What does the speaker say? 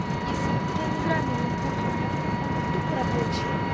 если я не играю на ноутбуке у меня он тупо рабочий